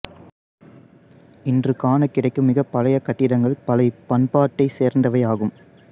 இன்று காணக் கிடைக்கும் மிகப் பழைய கட்டிடங்கள் பல இப்பண்பாட்டைச் சேர்ந்தவையாகும்